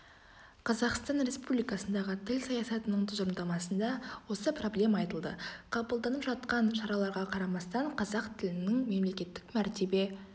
қазақстан республикандағы тіл саясатының тұжырымдамасында осы проблема айтылды қабылданып жатқан шараларға қарамастан қазақ тілінің мемлекеттік мәртебе